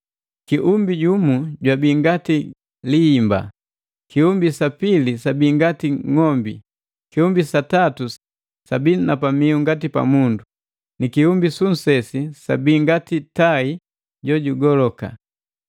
Kiumbi jumu jwabi ngati lihimba, kiumbi sa pili sabi ngati ng'ombi, kiumbi sa tatu sabi na pamiu ngati pa mundu, ni kiumbi su nsesi sabi ngati tai jo jugoloka.